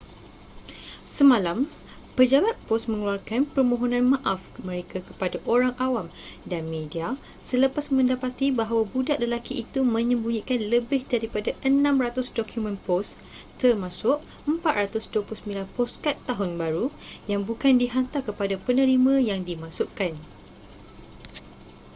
semalam pejabat pos mengeluarkan permohonan maaf mereka kepada orang awam dan media selepas mendapati bahawa budak lelaki itu menyembunyikan lebih daripada 600 dokumen pos termasuk 429 poskad tahun baru yang bukan dihantar kepada penerima yang dimaksudkan